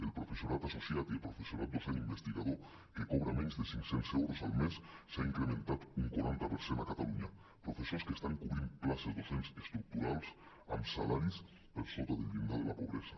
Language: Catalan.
el professorat associat i el professorat docent investiga·dor que cobra menys de cinc·cents euros al mes s’ha incrementat un quaranta per cent a catalunya professors que estan cobrint places docents estructurals amb salaris per sota del llindar de la pobresa